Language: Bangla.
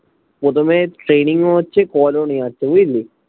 প্রথমে training ও হচ্ছে call ও নেয়াচ্ছে বুঝলি